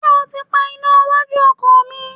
Ṣé ó ti pa iná iwájú ọkọ̀ mi?